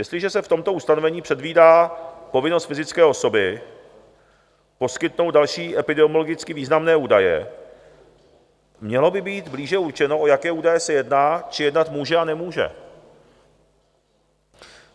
Jestliže se v tomto ustanovení předvídá povinnost fyzické osoby poskytnout další epidemiologicky významné údaje, mělo by být blíže určeno, o jaké údaje se jedná či jednat může a nemůže.